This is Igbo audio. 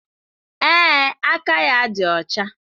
Ee, aka ya dị ọcha